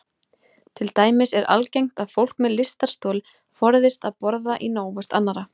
Til dæmis er algengt að fólk með lystarstol forðist að borða í návist annarra.